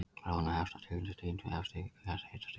Bráðnun hefst á tilteknu dýpi, eftir því hvert hitastigið er.